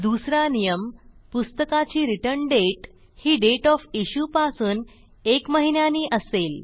दुसरा नियमः पुस्तकाची रिटर्न दाते ही दाते ओएफ इश्यू पासून एक महिन्यानी असेल